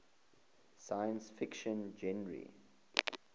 science fiction genre